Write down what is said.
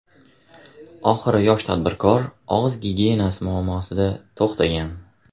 Oxiri yosh tadbirkor og‘iz gigiyenasi muammosida to‘xtagan.